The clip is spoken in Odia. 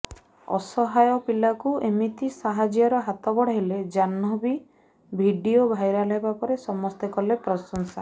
ଅସହାୟ ପିଲାକୁ ଏମିତି ସାହାଯ୍ୟର ହାତ ବଢ଼ାଇଲେ ଜାହ୍ନବୀ ଭିଡିଓ ଭାଇରାଲ ହେବା ପରେ ସମସ୍ତେ କଲେ ପ୍ରଶଂସା